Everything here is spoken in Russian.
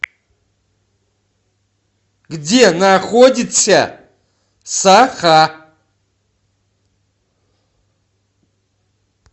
где находится саха